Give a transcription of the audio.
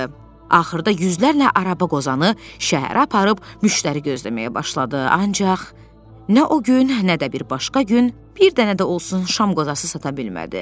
Axırda yüzlərlə araba qozanı şəhərə aparıb müştəri gözləməyə başladı, ancaq nə o gün, nə də bir başqa gün bir dənə də olsun şam qozası sata bilmədi.